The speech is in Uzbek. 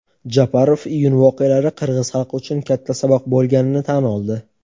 Japarov iyun voqealari qirg‘iz xalqi uchun katta saboq bo‘lganini tan oldi.